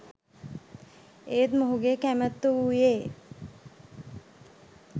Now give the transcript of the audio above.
ඒත් මොහු ගේ කැමැත්ත වූයේ